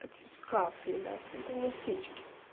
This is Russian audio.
это скафы ебать это не птички